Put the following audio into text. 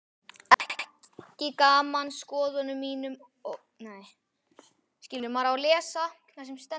ekki saman skoðunum mínum og ljóðum.